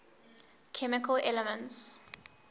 chemical elements